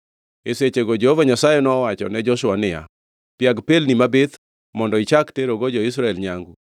E sechego Jehova Nyasaye nowachone Joshua niya, “Piag pelni mabith mondo ichak terogo jo-Israel nyangu.”